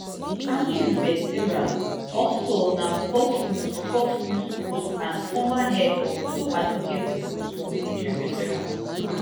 di army veteran also na fox news fox news host and former head of two advocacy groups for military veterans